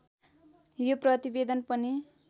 यो प्रतिवेदन पनि